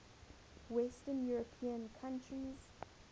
western european countries